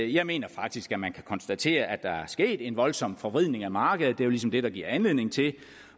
jeg mener faktisk at man kan konstatere at der er sket en voldsom forvridning af markedet jo ligesom det der giver anledning til